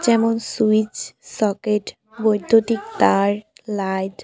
যেমন- switch socket বৈদ্যুতিক তার লাইট ।